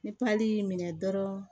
Ni pali y'i minɛ dɔrɔn